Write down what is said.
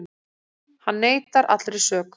Hann neitar allri sök